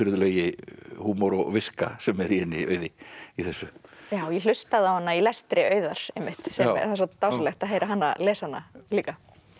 undirfurðulegi húmor og viska sem er í henni Auði í þessu ég hlustaði á hana í lestri Auðar einmitt svo dásamlegt að heyra hana lesa hana líka